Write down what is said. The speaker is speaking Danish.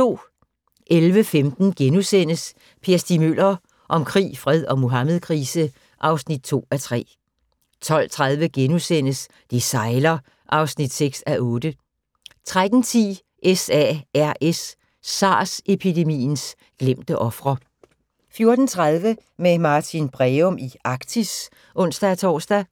11:15: Per Stig Møller – om krig, fred og Muhammedkrise (2:3)* 12:30: Det sejler (6:8)* 13:10: SARS-epidemiens glemte ofre 14:30: Med Martin Breum i Arktis (ons-tor)